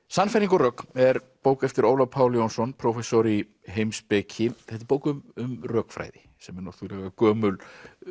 sannfæring og rök er bók eftir Ólaf Pál Jónsson prófessor í heimspeki þetta er bók um rökfræði sem er gömul